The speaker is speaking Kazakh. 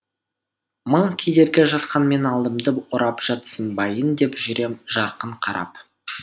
мың кедергі жатқанмен алдымды орап жатсынбайын деп жүрем жарқын қарап